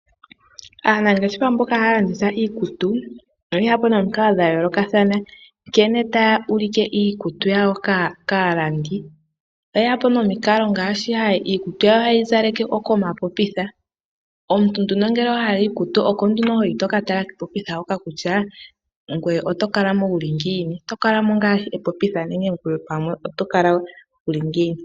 Aanangeshefa mboka haya landitha iikutu oye ya po nomikila ndhoka dha yoolokathana, nkene taya ulike iikutu yawo kaalandi. Oye ya po nomikalo ngaashi dhokuzaleka iikutu komapopitha. Omuntu ngele owa hala iikutu oko nduno ho yi to ka tala kepopitha hoka kutya ngoye oto kala mo wu li ngiini. Oto kala mo ngaashi epopitha nenge oto kala mo wu li ngiini.